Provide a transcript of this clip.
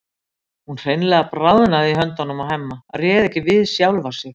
Hún hreinlega bráðnaði í höndunum á Hemma, réð ekki við sjálfa sig.